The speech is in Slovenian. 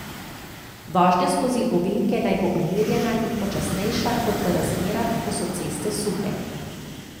Vožnja skozi ovinke naj bo umirjena in počasnejša kot v razmerah, ko so ceste suhe.